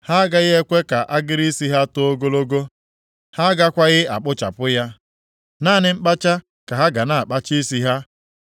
“ ‘Ha agaghị ekwe ka agịrị isi ha too ogologo, ha agakwaghị akpụchapụ ya. Naanị mkpacha ka ha ga na-akpacha isi ha.